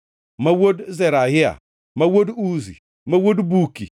ma wuod Zerahia, ma wuod Uzi, ma wuod Buki,